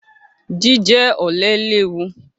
Jíjẹ ọ̀lẹ léwu.